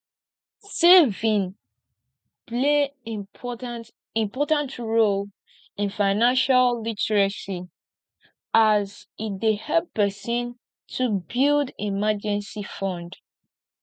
saving play important important role in financial literacy as e dey help pesin to build emergency fund